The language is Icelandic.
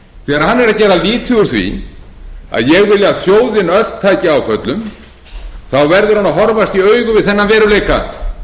úr því að ég vilji að þjóðin taki áföllum þá verður hann að horfast í augu við þennan veruleika